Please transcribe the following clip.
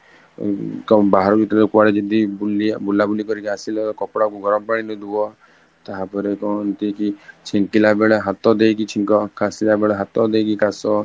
କଣ ବାହାର ଭିତର କୁଆଡେ ଯଦି ବୁଲା ବୁଲି କରିକି ଆସିଲା ତାହେଲେ କପଡା ଗରମ ପାଣିରେ ଧୁଆ ତାପରେ କହନ୍ତି କି ଛିଙ୍କିଲା ବେଳେ ହାତ ଦେଇକି ଛିଙ୍କ, କଷିଲା ବେଳେ ହାଥ ଦେଇକି କାଶ